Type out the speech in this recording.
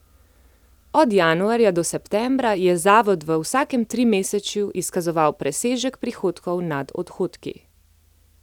Od januarja do septembra je zavod v vsakem trimesečju izkazoval presežek prihodkov nad odhodki.